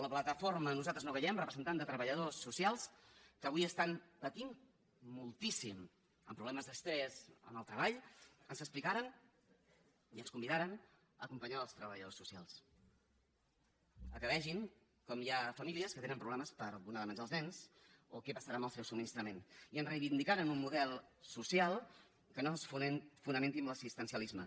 la plataforma nosaltres no callem representant de treballadors socials que avui estan patint moltíssim amb problemes d’estrès al treball ens explicaren i ens convidaren a acompanyar els treballadors socials que vegin com hi ha famílies que tenen problemes per donar menjar als nens o què passarà amb el seu subministrament i ens reivindicaren un model social que no es fonamenti en l’assistencialisme